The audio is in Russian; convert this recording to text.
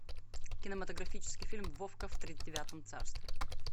кинематографический фильм вовка в тридевятом царстве